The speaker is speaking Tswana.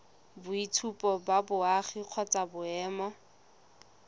boitshupo ba boagi kgotsa boemo